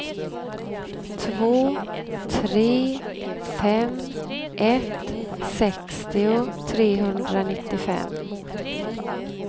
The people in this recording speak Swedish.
två tre fem ett sextio trehundranittiofem